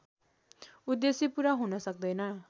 उद्देश्य पूरा हुन सक्दैन